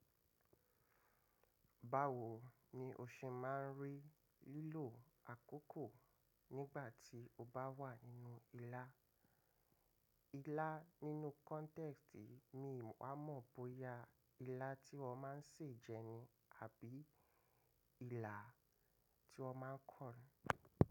Báwo ni o ṣe máa ń rí lílo àkókò nígbà tí o bá wà nínú ilá? Ilá nínú kọ́ntẹ́ẹ́sitì mi wà mọ̀ bóyá ilá tí wọ́n máa ń sè jẹ ni, àbí ilà tí wọ́n máa ń kọ.